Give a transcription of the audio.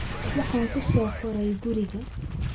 Waxaan ku soo koray guriga